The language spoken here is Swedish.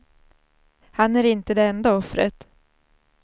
Han är inte det enda offret.